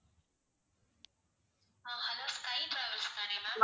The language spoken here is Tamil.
ஆஹ் hello sky travels தான ma'am